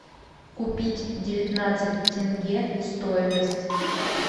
купить девятнадцать тенге стоимость